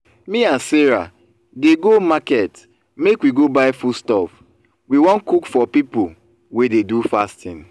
me and sarah dey go market make we go buy foodstuff we wan cook for people wey dey do fasting